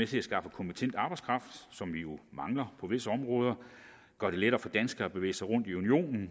til at skaffe kompetent arbejdskraft som vi jo mangler på visse områder gøre det lettere for danskere at bevæge sig rundt i unionen